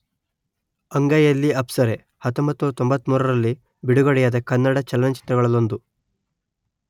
ಅಂಗೈಯಲ್ಲಿ ಅಪ್ಸರೆ ಸಾವಿರದ ಒಂಬೈನೂರ ತೊಂಬತ್ತ ಮೂರರಲ್ಲಿ ಬಿಡುಗಡೆಯಾದ ಕನ್ನಡ ಚಲನಚಿತ್ರಗಳಲ್ಲೊಂದು